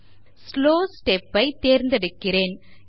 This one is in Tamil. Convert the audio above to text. இங்கு ஸ்லோ step ஐ தேர்கிறேன்